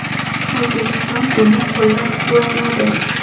O‘zbekiston buni qo‘llab-quvvatladi.